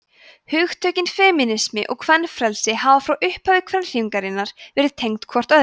hugtökin femínismi og kvenfrelsi hafa frá upphafi kvennahreyfingarinnar verið tengd hvort öðru